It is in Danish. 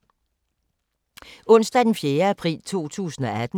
Onsdag d. 4. april 2018